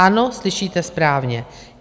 Ano, slyšíte správně.